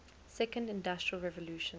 second industrial revolution